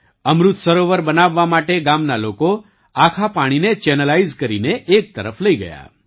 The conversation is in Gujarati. અમૃત સરોવર બનાવવા માટે ગામના લોકો આખા પાણીને ચેનલાઇઝ કરીને એક તરફ લઈ ગયા